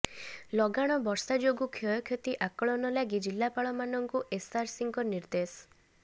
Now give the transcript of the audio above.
ଲଗାଣ ବର୍ଷା ଯୋଗୁଁ କ୍ଷୟକ୍ଷତି ଆକଳନ ଲାଗି ଜିଲ୍ଲାପାଳମାନଙ୍କୁ ଏସଆରସିଙ୍କ ନିର୍ଦ୍ଦେଶ